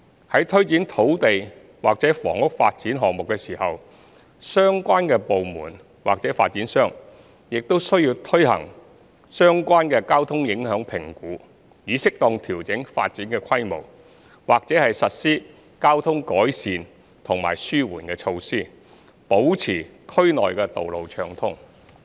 在推展土地或房屋發展項目時，相關部門或發展商需要進行相關交通影響評估，以適當調整發展規模，或實施交通改善及紓緩措施，保持區內道路暢通。